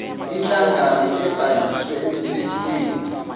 inhlangano ebhaliswe emthethweni